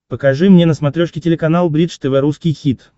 покажи мне на смотрешке телеканал бридж тв русский хит